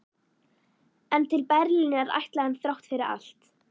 En til Berlínar ætlaði hann þrátt fyrir allt.